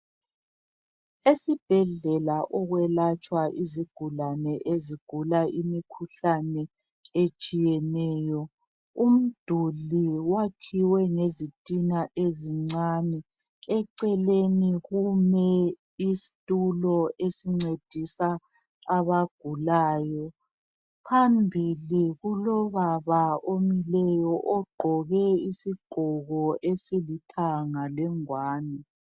Esibhedlela okwelatshwa izigulane ezigula imikhuhlane etshiyeneyo umduli wakhiwe ngezitina ezincane eceleni kume isitulo esincedisa abagulayo phambili kulobaba omileyo ogqoke isigqoko esilithanga lengwane.